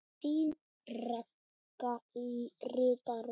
Þín Ragga ritari.